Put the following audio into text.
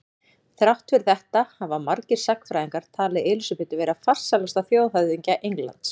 Þrátt fyrir þetta hafa margir sagnfræðingar talið Elísabetu vera farsælasta þjóðhöfðingja Englands.